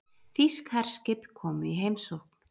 Þýsk herskip í heimsókn